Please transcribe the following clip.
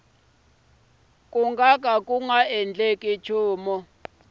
ku nga ka ku nga